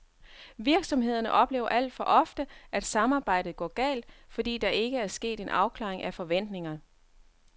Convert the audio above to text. Virsomhederne oplever alt for ofte, at samarbejdet går galt, fordi der ikke er sket en afklaring af forventningerne.